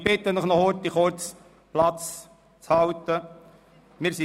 Ich bitte Sie, noch kurz an Ihren Plätzen zu bleiben.